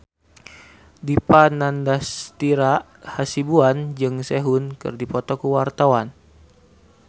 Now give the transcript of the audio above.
Dipa Nandastyra Hasibuan jeung Sehun keur dipoto ku wartawan